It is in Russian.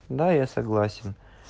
да я согласен